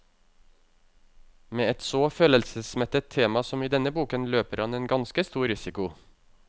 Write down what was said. Med et så følelsesmettet tema som i denne boken, løper han en ganske stor risiko.